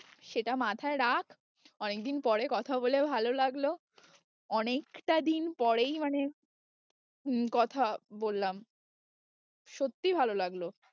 সেটা মাথায় রাখ, অনেকদিন পরে কথা বলে ভালো লাগলো অনেকটা দিন পরেই মানে হম কথা বললাম সত্যি ভালো লাগলো।